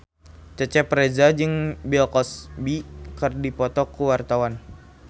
Cecep Reza jeung Bill Cosby keur dipoto ku wartawan